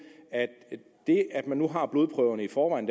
at man nu har blodprøverne i forvejen